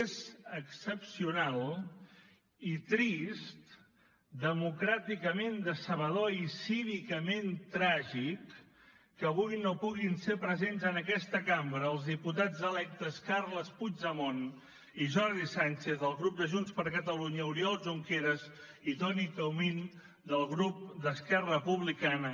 és excepcional i trist democràticament decebedor i cívicament tràgic que avui no puguin ser presents en aquesta cambra els diputats electes carles puigdemont i jordi sànchez del grup de junts per catalunya oriol junqueras i toni comín del grup d’esquerra republicana